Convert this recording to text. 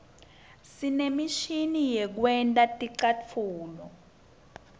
sinemishini yekwenta ticatfulo